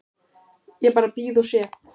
Ég bara bíð og sé.